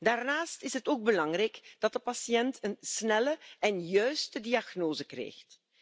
Daarnaast is het ook belangrijk dat de patiënt een snelle en juiste diagnose krijgt.